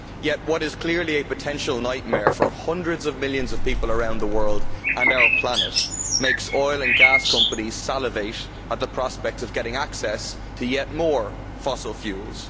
Yet what is clearly a potential nightmare for hundreds of millions of people around the world and our planet makes oil and gas companies salivate at the prospect of getting access to yet more fossil fuels.